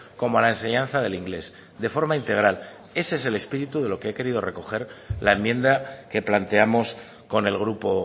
como a la enseñanza del inglés de forma integral ese es el espíritu de lo que ha querido recoger la enmienda que planteamos con el grupo